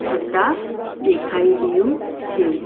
થતા દેખાઈ રહ્યું છે.